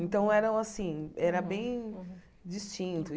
Então, eram assim era bem distinto.